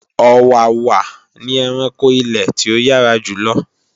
Ọ̀wàwà ni ẹranko ilè tí ó yára jùlo